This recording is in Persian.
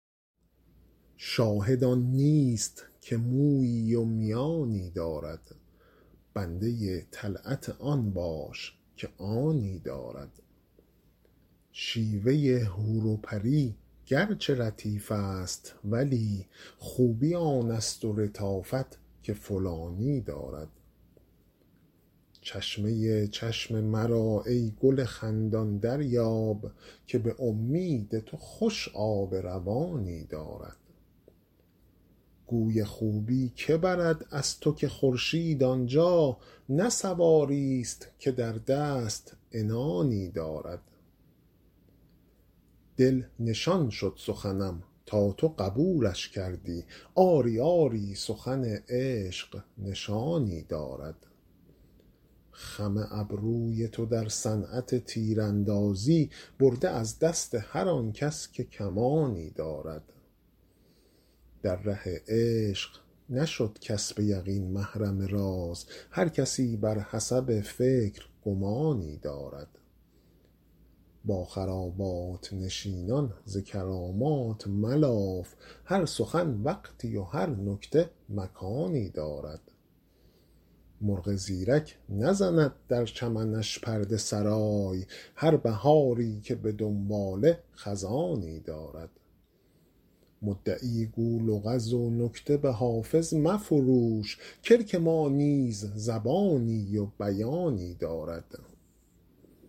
شاهد آن نیست که مویی و میانی دارد بنده طلعت آن باش که آنی دارد شیوه حور و پری گرچه لطیف است ولی خوبی آن است و لطافت که فلانی دارد چشمه چشم مرا ای گل خندان دریاب که به امید تو خوش آب روانی دارد گوی خوبی که برد از تو که خورشید آن جا نه سواریست که در دست عنانی دارد دل نشان شد سخنم تا تو قبولش کردی آری آری سخن عشق نشانی دارد خم ابروی تو در صنعت تیراندازی برده از دست هر آن کس که کمانی دارد در ره عشق نشد کس به یقین محرم راز هر کسی بر حسب فکر گمانی دارد با خرابات نشینان ز کرامات ملاف هر سخن وقتی و هر نکته مکانی دارد مرغ زیرک نزند در چمنش پرده سرای هر بهاری که به دنباله خزانی دارد مدعی گو لغز و نکته به حافظ مفروش کلک ما نیز زبانی و بیانی دارد